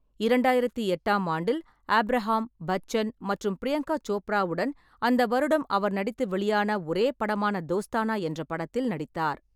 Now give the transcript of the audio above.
இரண்டாயிரத்து எட்டாம் ஆண்டில், ஆபிரகாம், பச்சன் மற்றும் பிரியங்கா சோப்ராவுடன், அந்த வருடம் அவர் நடித்து வெளியான ஒரே படமான தோஸ்தானா என்ற படத்தில் நடித்தார்.